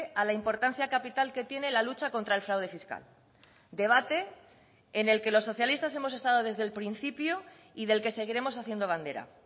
a la importancia capital que tiene la lucha contra el fraude fiscal debate en el que los socialistas hemos estado desde el principio y del que seguiremos haciendo bandera